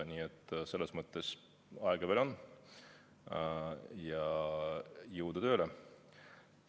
Nii et selles mõttes aega veel on ja jõudu tööle!